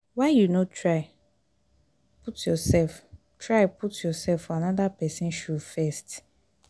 why you no try put yoursef try put yoursef for anoda pesin shoe first?